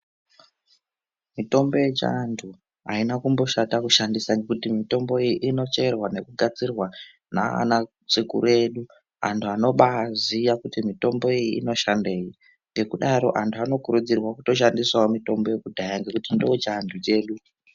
Mitombo yechiantu aina kumboshata kushandisa ngekuti mutombo iyi inocherwa nekugadzirwa nana sekuru edu anhu anobaaziya kuti mutombo iyi inoshandei ngekudaro antu anokurudzirwa kutoshandisawo mutombo yekudhaya ngekuti ndochiantu chedu.